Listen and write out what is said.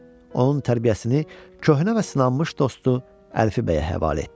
Onun tərbiyəsini köhnə və sınanmış dostu Əlfi bəyə həvalə etdi.